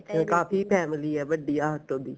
ਕਾਫੀ family ਐ ਵੱਡੀ auto ਦੀ